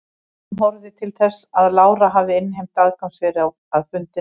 Dómurinn horfði til þess að Lára hafði innheimt aðgangseyri að fundunum.